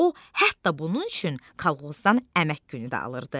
O hətta bunun üçün kolxozdan əmək günü də alırdı.